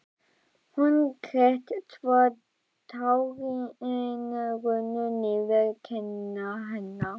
Hún grét svo tárin runnu niður kinnar hennar.